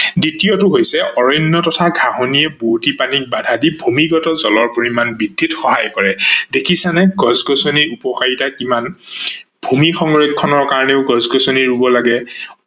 দ্বিতীয়টা হৈছে অৰণ্য তথা ঘাহনিৰ বোৱতি পানীত বাধা দি ভূমিগত জলৰ পৰিমান বৃদ্ধিত সহায় কৰে ।দেখিছানে গছ-গছনিৰ উপকাৰিতা কিমান, ভূমি সংৰক্ষনৰ কাৰনেও গছ-গছ্নি ৰুব লাগে।